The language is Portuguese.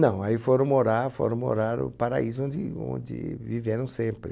Não, aí foram morar foram morar no paraíso onde onde viveram sempre.